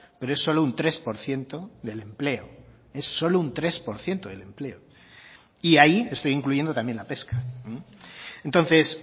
pero es solo un tres por ciento del empleo es solo un tres por ciento del empleo y ahí estoy incluyendo también la pesca entonces